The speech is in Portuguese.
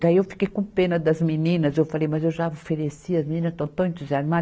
Daí eu fiquei com pena das meninas, eu falei, mas eu já ofereci as meninas estão tão entusiasmadas.